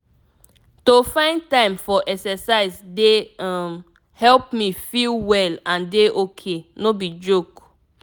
to find time for exercise dey um help me me feel well and dey ok no be joke.